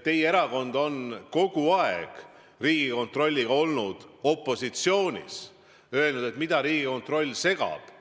Teie erakond on kogu aeg Riigikontrolliga opositsioonis olnud, öelnud, et mida see Riigikontroll segab –